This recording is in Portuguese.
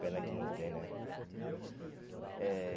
Pena que não tem, né? Eh